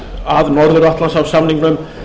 að norður atlantshafssamningnum